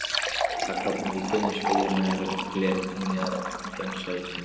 Það klofnar í þunnar, sveigjanlegar, glergljáandi, oft gagnsæjar þynnur.